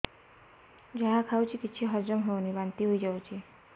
ଯାହା ଖାଉଛି କିଛି ହଜମ ହେଉନି ବାନ୍ତି ହୋଇଯାଉଛି